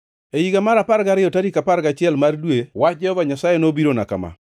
E higa mar apar gariyo, tarik apar gachiel mar dwe, wach Jehova Nyasaye nobirona kama: